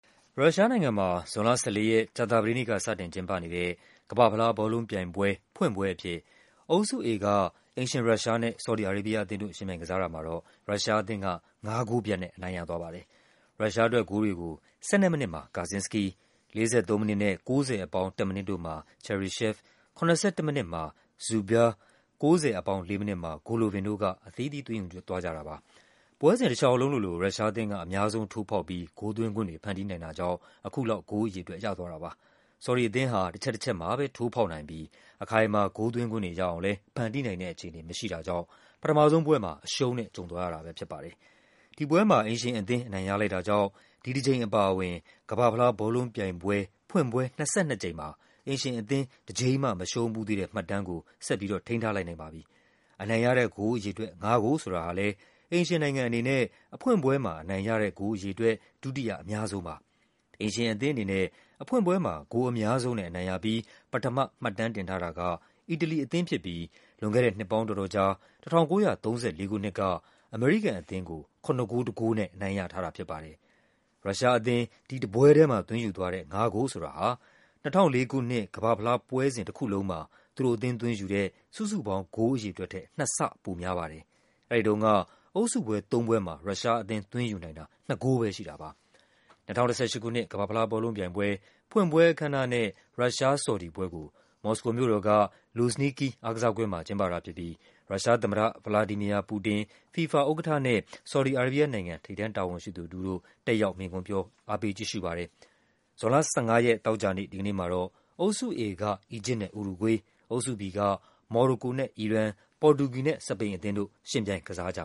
ရုရှားနိုင်ငံမှာ ဇွန်လ ၁၄ ရက်၊ ကြာသပတေးနေ့က စတင်ကျင်းပတဲ့ ကမ္ဘာ့ဖလားဘောလုံး ပြိုင်ပွဲ ဖွင့်ပွဲအဖြစ် အုပ်စု A က အိမ်ရှင် ရုရှားနဲ့ ဆော်ဒီ အာရေးဘီးယားအသင်းတို့ ယှဉ်ပြိုင်ကစားတာမှာ ရုရှားအသင်းက ၅ ဂိုးပြတ်နဲ့ အနိုင်ရသွားပါတယ်။ ရုရှားအတွက်ဂိုးတွေကို ၁၂ မိနစ်မှာ Gazinsky ၊ ၄၃ မိနစ်နဲ့ ၉၀+၁ မိနစ်တို့မှာ Cheryshev ၊ ၇၁ မိနစ်မှာ Dzyuba ၊ ၉၀+၄ မိနစ် မှာ Golovin တို့က အသီးသီး သွင်းယူကြတာပါ။ ပွဲစဉ်တလျှောက်လုံးလိုလို ရုရှားအသင်းက အများဆုံး ထိုးဖောက်ပြီး ဂိုးသွင်းခွင့်တွေ ဖန်တီးနိုင်တာကြောင့် အခုလောက် ဂိုးအရေအတွက် ရသွားတာပါ။ ဆော်ဒီအသင်းဟာ တချက်တချက်မှ ထိုးဖောက်နိုင်ပြီး အခိုင်အမာ ဂိုးသွင်းခွင့်တွေရအောင်လည်း ဖန်တီးနိုင် တဲ့အခြေအနေမရှိတာကြောင့် ပထမဆုံးပွဲမှာ အရှုံးနဲ့ကြုံသွားရတာပဲဖြစ်ပါ တယ်။ ဒီပွဲမှာ အိမ်ရှင်အသင်း အနိုင်ရလိုက်တာကြောင့် ဒီတကြိမ်အပါအဝင် ကမ္ဘာ့ ဖလားဘောလုံးပြိုင်ပွဲ ဖွင့်ပွဲ ၂၂ ကြိမ်မှာ အိမ်ရှင် အသင်း တကြိမ်မှ မရှုံးဖူးသေးတဲ့ မှတ်တမ်းကို ဆက်ပြီး ထိန်းထားလိုက်နိုင်ပါတယ်။ အနိုင်ရတဲ့ ဂိုးအရေအတွက် ငါးဂိုးဆိုတာဟာ လည်း အိမ်ရှင်နိုင်ငံအနေနဲ့ အဖွင့်ပွဲမှာ အနိုင်ရတဲ့ဂိုးအရေအတွက် ဒုတိယအများဆုံးပါ။ အိမ်ရှင်အသင်းအနေနဲ့ အဖွင့်ပွဲမှာ ဂိုးအများဆုံးနဲ့ အနိုင်ရပြီး ပထမ မှတ်တမ်းတင်ထားတာက အီတလီအသင်းဖြစ်ပြီး ၁၉၃၄ ခုနှစ်က အမေရိကန်အသင်းကို ၇ ဂိုး ၁ ဂိုးနဲ့ အနိုင်ရထားတာဖြစ်ပါတယ်။ ရုရှားအသင်း ဒီတပွဲထဲမှာသွင်းယူတဲ့ ၅ ဂိုးဆိုတာဟာ ၂၀၁၄ ခုနှစ် ကမ္ဘာ့ဖလား ပွဲစဉ်တခုလုံးမှာ သူတို့အသင်း သွင်းယူတဲ့ စုစုပေါင်း ဂိုးအရေအတွက်ထက် နှစ်ဆ ပိုများပါတယ်။ အဲဒီတုန်းက အုပ်စုပွဲသုံးပွဲမှာ ရုရှားအသင်း သွင်းယူနိုင်တာ ၂ ဂိုးပဲရှိတာပါ။ ၂၀၁၈ ခုနှစ် ကမ္ဘာ့ဖလားဘောလုံးပြိုင်ပွဲ ဖွင့်ပွဲအခမ်းအနားနဲ့ ရုရှား-ဆော်ဒီပွဲကို မော်စကိုမြို့တော်က Luzhniki အားကစားကွင်း မှာ ကျင်းပတာဖြစ်ပြီး ရုရှားသမ္မတ ဗလာဒီမီယာ ပူတင်ကိုယ်တိုင် တက်ရောက် မိန့်ခွန်းပြော အားပေးကြည့်ရှုပါတယ်။ ဇွန်လ ၁၅ ရက် သောကြာနေ့မှာ အုပ်စု A က အီဂျစ်နဲ့ ဥရုဂွေး၊ အုပ်စု B က မော်ရိုကိုနဲ့ အီရန်၊ ပေါ်တူဂီနဲ့ စပိန်တို့ ယှဉ်ပြိုင် ကစားကြ